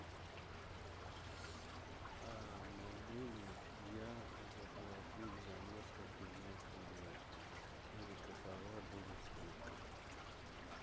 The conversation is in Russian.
могу ли я заплатить за несколько дней вперед и какова будет скидка